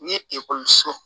N ye ekɔliso